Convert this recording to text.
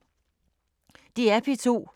DR P2